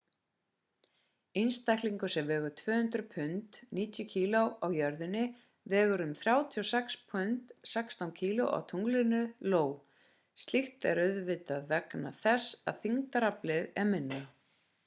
einstaklingur sem vegur 200 pund 90 kg á jörðinni vegur um 36 pund 16 kg á tunglinu ió. slíkt er auðvitað vegna þess að þyngdaraflið er minna